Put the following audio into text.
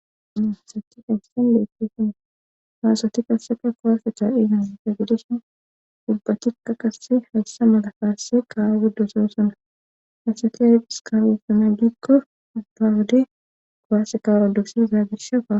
sahi haysen leettesona faasati kasseka kowaasa cha dhiigansate gidhisin dubbatika qasse hayssa mada faasse kaawa guddosossona hasate diskarussana gikko bdaawude kowaase ka rodusida zaagirshaa